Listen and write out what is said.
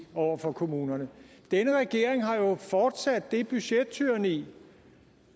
over for kommunerne denne regering har fortsat det budgettyranni